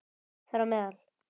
Þar á meðal